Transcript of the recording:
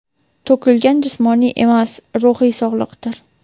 to‘kilgan jismoniy emas ruhiy sog‘liqdir.